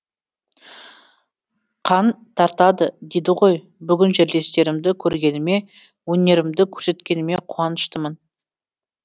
қан тартады дейді ғой бүгін жерлестерімді көргеніме өнерімді көрсеткеніме қуаныштымын